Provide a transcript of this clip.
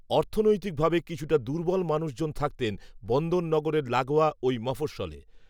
অর্থনৈতিক ভাবে কিছুটা দুর্বল মানুষজন থাকতেন বন্দর নগরের লাগোয়া ওই মফস্‌সলে